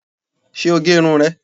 Ṣé o gé irun rẹ̀